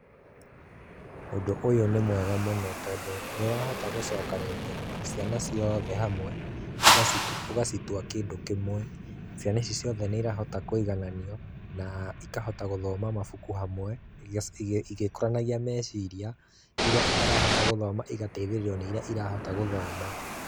Ũndũ ũyũ nĩ mwega mũno tondũ, nĩ ũrahota gũcokanĩrĩria ciana ciothe hamwe, ũgacitua kĩndũ kĩmwe. Ciana ici ciothe nĩ irahota kũigananio, na, ikahota gũthoma mabuku hamwe, igĩkũranagia meciria, iria itarahota gũthoma igatheithĩrĩrio nĩ iria irahota gũthoma.